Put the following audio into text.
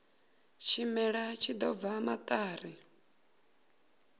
tshimela tshi ḓo bva maṱari